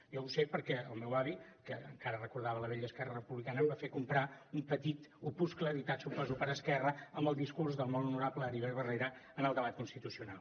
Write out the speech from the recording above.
jo ho sé perquè el meu avi que encara recordava la vella esquerra republicana em va fer comprar un petit opuscle editat suposo que per esquerra amb el discurs del molt honorable heribert barrera en el debat constitucional